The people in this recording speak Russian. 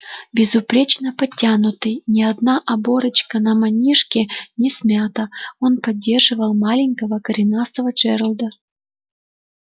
безупречно подтянутый ни одна оборочка на манишке не смята он поддерживал маленького коренастого джералда